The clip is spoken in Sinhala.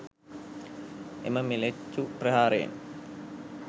එම ම්ලේච්ඡු ප්‍රහාරයෙන්